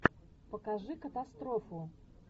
покажи катастрофу